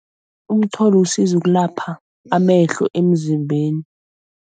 Umtholo usiza ukulapha amehlo emzimbeni.